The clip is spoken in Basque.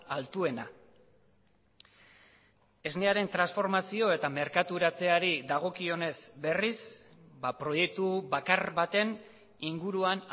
altuena esnearen transformazio eta merkaturatzeari dagokionez berriz proiektu bakar baten inguruan